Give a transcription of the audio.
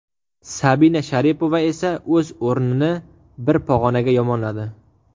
Sabina Sharipova esa o‘z o‘rnini bir pog‘onaga yomonladi.